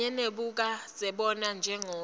kanye nebukadzebona njengobe